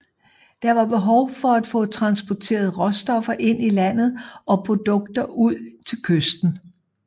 Der var behov for at få transporteret råstoffer ind i landet og produkter ud til kysten